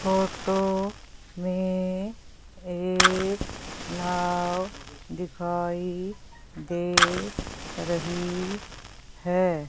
Photo में एक नाव दिखाई दे रही है।